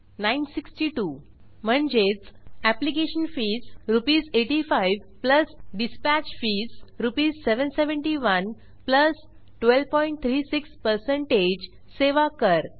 96200 म्हणजेच application fees आरएस8500 dispatch fees आरएस77100 1236 सेवा कर